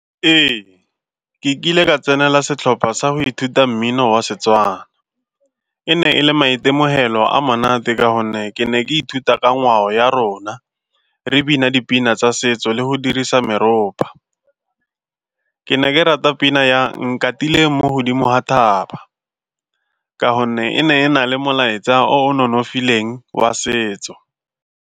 Ee, ke kile ka tsenela setlhopha sa go ithuta mmino wa Setswana. E ne e le maitemogelo a monate ka gonne ke ne ke ithuta ka ngwao ya rona, re bina dipina tsa setso le go dirisa meropa. Ke ne ke rata pina ya Nkatile mo godimo ga thaba ka gonne e ne e na le molaetsa o o nonofileng wa setso.